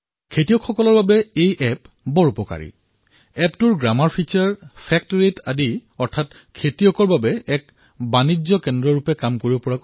এই এপটো কৃষকসকলৰ বাবেও লাভজনক বিবেচিত হৈছে এপৰ ব্যাকৰণ বৈশিষ্ট কৃষকসকলৰ মাজত সত্যৰ হাৰ এক প্ৰকাৰে তেওঁলোকৰ উৎপাদনৰ বাবে এক বজাৰৰ দৰে কাম কৰে